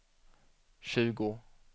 tjugo